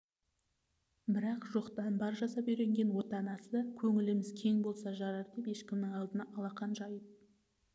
бірақ жоқтан бар жасап үйренген отанасы көңіліміз кең болса жарар деп ешкімнің алдына алақан жайып